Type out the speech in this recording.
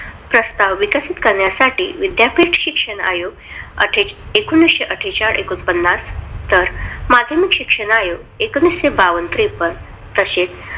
प्रस्ताव विकसित करण्यासाठी विद्यापीठ शिक्षणआयोग एकोणविशे अठेचाळ-एकोणपन्नास तर माध्यमिक शिक्षण अयोग्य एकोणविशे बावन्न-त्रेपन्न तशेच